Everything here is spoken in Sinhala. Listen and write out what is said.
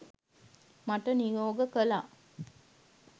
මට නියෝග කළා